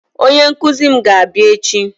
Onye nkụzi mụ ga-abịa echi